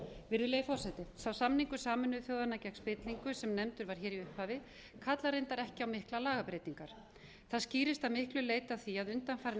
virðulegi forseti sá samningur sameinuðu þjóðanna gegn spillingu sem nefndur var hér í upphafi kallar reyndar ekki á miklar lagabreytingar það skýrist að miklu leyti af því að undanfarin